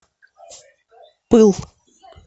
пыл